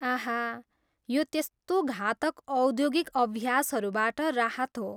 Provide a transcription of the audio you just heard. आह! यो त्यस्तो घातक औद्योगिक अभ्यासहरूबाट राहत हो।